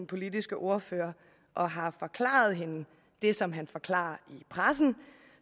politiske ordfører og har forklaret hende det som han forklarer i pressen